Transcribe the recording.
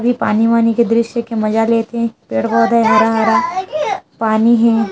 पानी वानी के दृश्य के मजा लेते है पेड़ - पौधे हरा भरा पानी ही --